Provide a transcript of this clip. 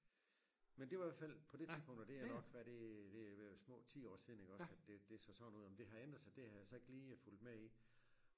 Men det var i hvert fald på det tidspunkt og det er nok hvad er det det ved at være små 10 år siden iggås at det det så sådan ud om det har ændret sig det har jeg så ikke lige fulgt med i